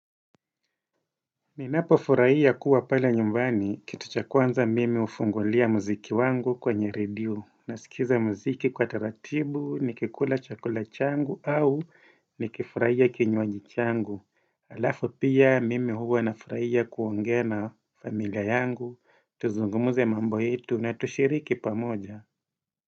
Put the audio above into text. Ninapo furahia kuwa pale nyumbani, kitu cha kwanza mimi hufungulia muziki wangu kwenye redio, nasikiza muziki kwa taratibu, nikikula chakula changu au nikifurahia kinywaji changu Alafu pia mimi huwa na furahia kuongea na familia yangu, tuzungumuze mambo yetu na tushiriki pamoja.